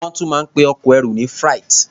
Wọ́n tún máa ń pe ẹrù ọkọ ní freight.